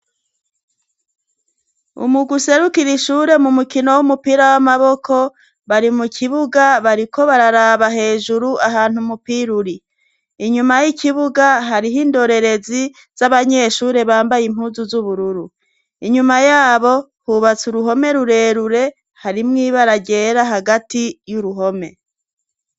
Umugwi userukira ishure mu mukino w'umupira w'amaboko bari mu kibuga bariko bararaba hejuru ahantu mupira uri. Inyuma y'ikibuga hariho indorerezi z'abanyeshure bambaye impuzu z'ubururu inyuma yabo hubatse uruhome rurerure hari mw ibaragera hagati y'uruhome.